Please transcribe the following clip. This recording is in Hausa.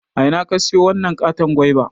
A ina ka siyo wanan katon goiba?